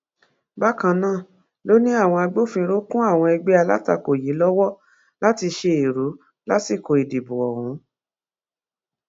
bákan náà ló ní àwọn agbófinró kún àwọn ẹgbẹ alátakò yìí lọwọ láti ṣe èrú lásìkò ìdìbò ọhún